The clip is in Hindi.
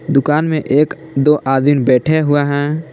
दुकान में एक दो आदमीन बैठे हुए हैं।